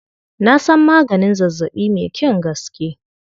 Na san maganin zazzaɓi mai kyan gaske.